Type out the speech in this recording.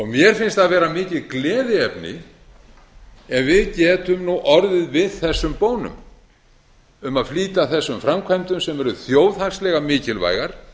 mér finnst það vera mikið gleðiefni ef við getum nú orðið við þessum bónum um að flýta þessum framkvæmdum sem eru þjóðhagslega mikilvægar